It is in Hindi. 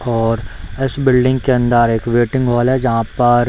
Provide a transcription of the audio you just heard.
और इस बिल्डिंग के अंदर एक वेटिंग हॉल है जहाँ पर --